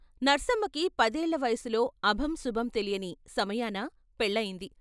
నర్సమ్మకి పదేళ్ళ వయసులో అభం శుభం తెలియని సమయాన పెళ్ళయింది.